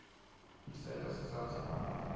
isenta sitsandze bantfu